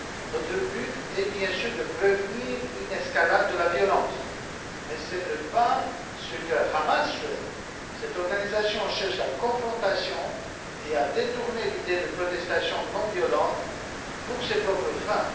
Notre but est, bien sûr, de prévenir une escalade de la violence, mais ce n'est pas ce que souhaite le Hamas, qui cherche la confrontation et à détourner l'idée de protestations non violentes à ses propres fins.